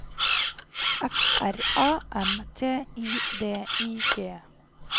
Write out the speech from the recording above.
F R A M T I D I G